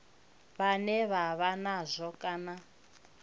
vhane vha vha nazwo kana